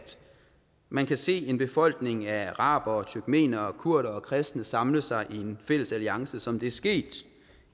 man kan se en befolkning af arabere turkmenere kurdere og kristne samle sig i en fælles alliance som det er sket